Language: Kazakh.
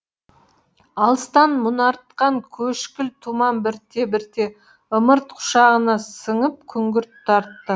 алыстан мұнартқан көшкіл тұман бірте бірте ымырт құшағына сіңіп күңгірт тартты